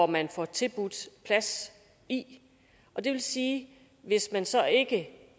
man får tilbudt plads og det vil sige at hvis man så ikke